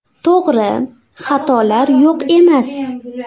To‘g‘ri, xatolar yo‘q emas.